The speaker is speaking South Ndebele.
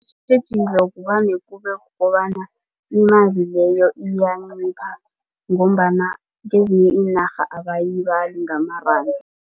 Isitjhijilo vane kubekukobana imali leyo iyancipha ngombana kezinye iinarha abayibali ngamaranda.